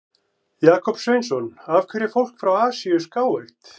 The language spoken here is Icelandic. Jakob Sveinsson: Af hverju er fólk frá Asíu skáeygt?